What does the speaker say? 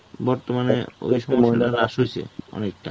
বর্তমানে ওইসব মহিলা রাস হয়েছে অনেকটা.